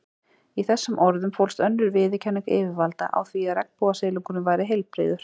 Í þessum orðum fólst önnur viðurkenning yfirvalda á því að regnbogasilungurinn væri heilbrigður.